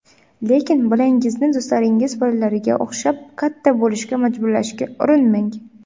Lekin bolangizni do‘stlaringiz bolalariga o‘xshab katta bo‘lishga majburlashga urinmang.